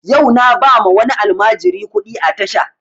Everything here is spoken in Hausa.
Yau na ba ma wani almajiri kuɗi a tasha